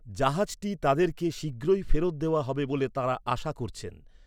জাহাজটি তাঁদেরকে শীঘ্রই ফেরত দেওয়া হবে বলে তাঁরা আশা করছেন।